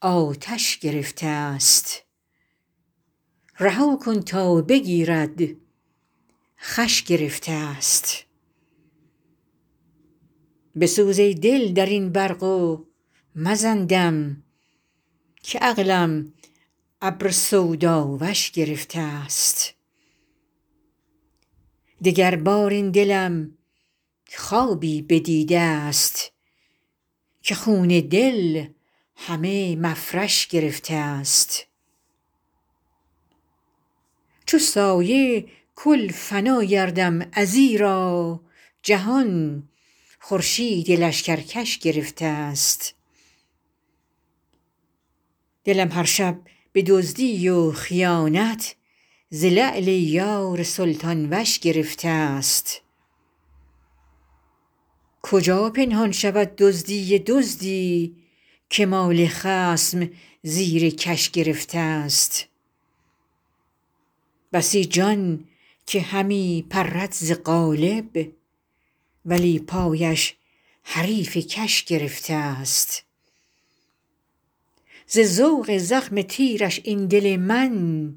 آتش گرفته ست رها کن تا بگیرد خوش گرفته ست بسوز ای دل در این برق و مزن دم که عقلم ابر سوداوش گرفته ست دگربار این دلم خوابی بدیده ست که خون دل همه مفرش گرفته ست چو سایه کل فنا گردم ازیرا جهان خورشید لشکرکش گرفته ست دلم هر شب به دزدی و خیانت ز لعل یار سلطان وش گرفته ست کجا پنهان شود دزدی دزدی که مال خصم زیر کش گرفته ست بسی جان که همی پرد ز قالب ولی پایش حریف کش گرفته ست ز ذوق زخم تیرش این دل من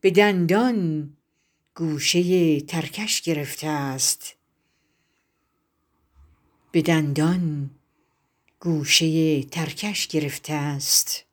به دندان گوشه ترکش گرفته ست